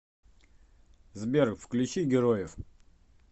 сбер включи героев